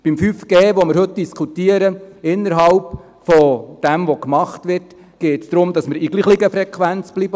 Bei 5G, worüber wir heute diskutieren, geht es innerhalb dessen, was gemacht wird, darum, in derselben Frequenz zu bleiben.